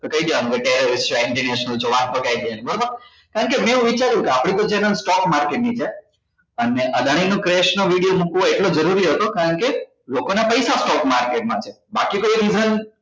તો કઈ દેવાનું કે બરોબર કારણ કે મેં એવું વિચાર્યું કે આપણી તો channel stock market ની છે અને અદાણી નો crash નો video મુકવો એટલો જરૂરી હતો કારણ કે લોકોના પૈસા stock market માં છે બાકી કોઈ reason